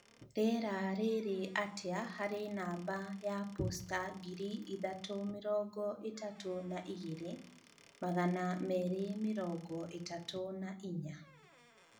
Rĩera rĩrĩ atĩa harĩ namba ya posta ngiri ithatũ mĩrongo ĩtatũ na igĩrĩ magana meerĩ mĩrongo ĩtatũ na inya